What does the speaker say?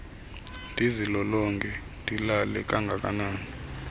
ndizilolonge ndilale kangakanani